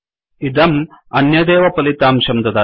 इदम् अन्यदेव फलितांशं ददाति